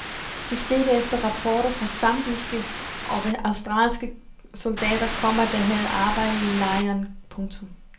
Det skete efter rapporter fra zambiske og australske soldater, komma der havde arbejdet i lejren. punktum